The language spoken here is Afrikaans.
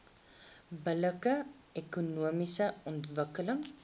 billike ekonomiese ontwikkeling